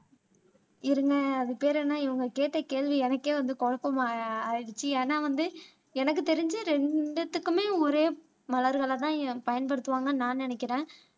இருங்க அது பேரு என்ன இவங்க கேட்ட கேள்வி எனக்கே வந்து குழப்பமா ஆயி ஆயிடுச்சு ஏன்னா வந்து எனக்கு தெரிஞ்சு ரெண்டுத்துக்குமே ஒரே மலர்களைதான் பயன்படுத்துவாங்கன்னு நான் நினைக்கிறேன்